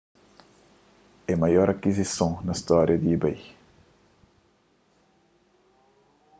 é maior akizison na storia di ebay